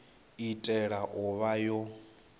i tea u vha yo